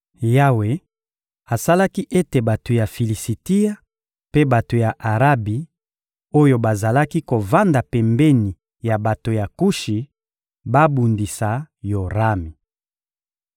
Yawe asalaki ete bato ya Filisitia mpe bato ya Arabi oyo bazalaki kovanda pembeni ya bato ya Kushi babundisa Yorami.